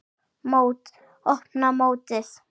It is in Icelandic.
Mót: Opna mótið